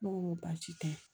Ne ko n ko baasi tɛ